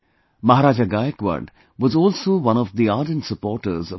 Maharaja Gaikwad was also one of the ardent supporters of education